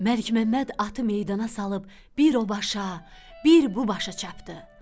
Məlikməmməd atı meydana salıb bir o başa, bir bu başa çapdı.